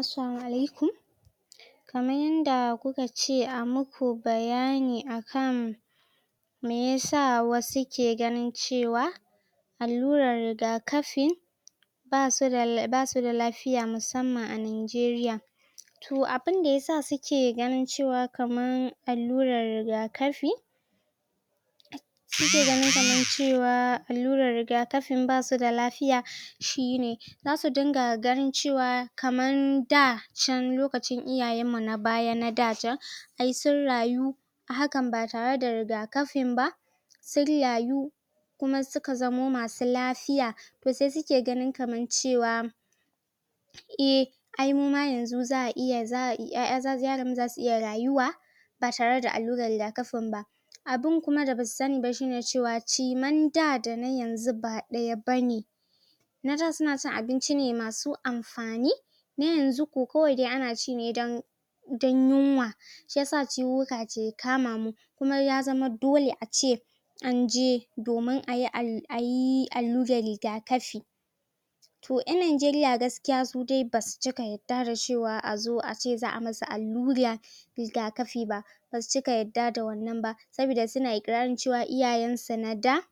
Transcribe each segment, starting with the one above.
Assalamu alaikum kaman yanda kuka ce a muku bayani akan meyasa wasu ke ganin cewa allurar rigaƙafi basu da lafiya musamman a nijeriya toh abun da yasa suke ganin cewa kaman allurar rigaƙafi suke ganin cewa allurar rigaƙafi basu da lafiya shine zasu dinga ganin cewa kaman da can lokicin iyayen mu na baya na ɗa can ai sun rayu hakan ba tare da rigaƙafin ba sun rayu kuma suka zamo masu lafiya sai suke ganin kaman cewa eh ai muma yanzu za'a iya 'ya'yan yaran mu zasu iya rayuwa ba tare da allurar rigaƙafin ba abun kuma da basu sani ba shine cewa shirmen ɗa da na yanzu ba ɗaya bane na ɗa suna cin abinci masu amfani na yanzu ko kawai ana ci ne dan dan yunwa shiyasa ciwuwuka ke kama mu kuma ya zama dole ace anje domin ayi alluran rigaƙafi yan nijeriya gaskiya su dai basu cika yadda azo ace za'a masu allura rigaƙafi ba basu cika yadda da wannan ba sabida suna ƙirarin cewa iyayen su na ɗa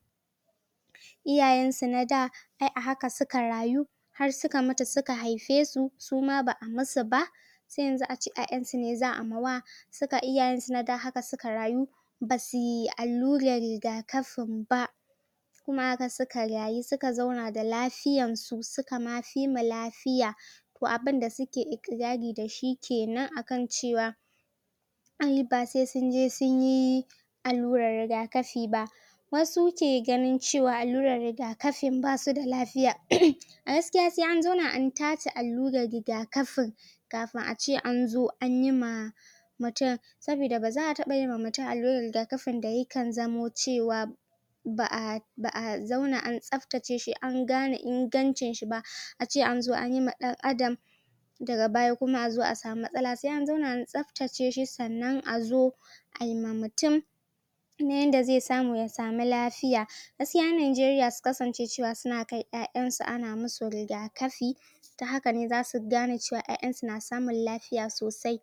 iyayen su na ɗa ai a haka suka rayu har suka mutu suka haife su suma ba'a musu ba sai yanzu a ce 'ya'yan su za'a mawa su kan iyayen su na da haka suka rayu basuyi alluran rigakafin ba kuma haka suka rayu suka zauna da lafiya su suka ma fi mu lafiya toh abun da suke iƙrari dashi kenan akan cewa ai ba sai sun je sunyi allurar rigaƙafi ba wasu ke ganin cewa allurar rigaƙafi basu da lafiya um a gaskiya san an zauna an tace alluran rigaƙafin kafin ace an zo anyi ma mutun sabida baza'a taba ma mutun alluran rigaƙafin da yakan zamo cewa ba'a ba'a zauna an tsaftace shi an gane ingancin shi ba ace anzo anyi ma dan adam daga baya kuma a zo a samu matsala sai an zauna an tsaftace shi sannan a zo ayi ma mutum na yanda zai samu ya samu lafiya gaskiya nijeriya su kasance suna kai 'ya'yan su ana musu rigaƙafi ta haka ne zasu gane cewa 'ya'yan su na samun lafiya sosai